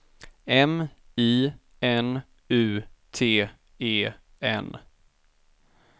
M I N U T E N